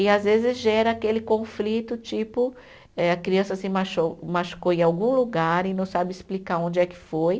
E às vezes gera aquele conflito, tipo, eh a criança se macho, machucou em algum lugar e não sabe explicar onde é que foi.